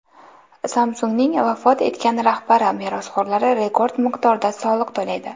Samsung‘ning vafot etgan rahbari merosxo‘rlari rekord miqdorda soliq to‘laydi.